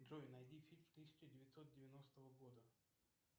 джой найди фильм тысяча девятьсот девяностого года